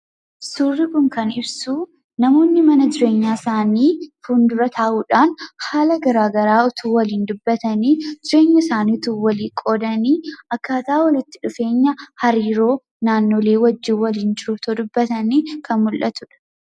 Suurri kun kan ibsu namoonni mana jireenyaa isaanii fuuldura taa'uudhaan haala garaa garaa utuu waliin dubbatanii, jireenya isaanii utuu walii qoodanii, akkaataa walitti dhufeenya hariiroo naannolee wajjin waliin jiruu otoo dubbatanii kan mul'atudha.